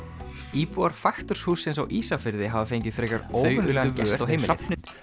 íbúar faktorshússins á Ísafirði hafa fengið frekar óvenjulegan gest á heimilið